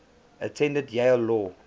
attended yale law